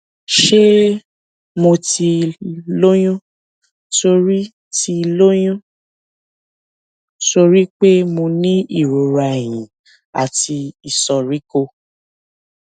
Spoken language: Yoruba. ṣé mo ti lóyún torí ti lóyún torí pé mo ní ìrora ẹyìn àti ìsoríkó